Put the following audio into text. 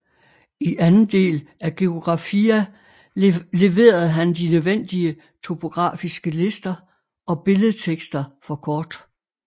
I anden del af Geographia leverede han de nødvendige topografiske lister og billedtekster for kort